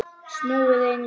Snúið einu sinni.